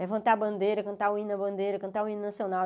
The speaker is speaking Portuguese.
Levantar a bandeira, cantar o hino da bandeira, cantar o hino nacional.